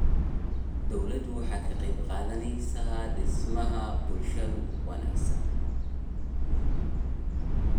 Dawladdu waxay ka qayb qaadanaysaa dhismaha bulsho wanaagsan.